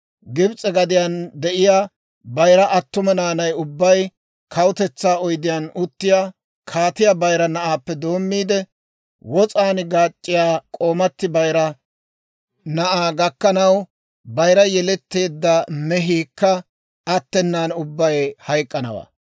Gibs'e gadiyaan de'iyaa bayira attuma naanay ubbay, kawutetsaa oydiyaan uttiyaa kaatiyaa bayira na'aappe doommiide, wos'an gaac'c'iyaa k'oomati bayira na'aa gakkanaw bayira yeletteedda mehiikka attenan ubbay hayk'k'anawaa.